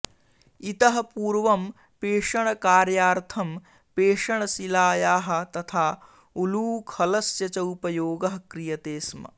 इतःपूर्वं पेषणकार्यार्थं पेषणशिलायाः तथा उलूखलस्य च उपयोगः क्रियते स्म